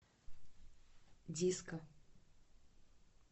диско